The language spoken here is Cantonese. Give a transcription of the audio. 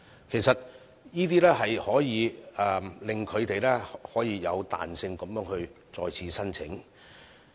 其實，上述措施可令中小企有彈性地再次申請。